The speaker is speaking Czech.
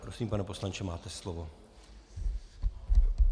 Prosím, pane poslanče, máte slovo.